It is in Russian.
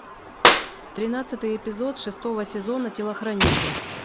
тринадцатый эпизод шестого сезона телохранитель